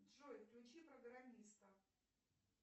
джой включи программиста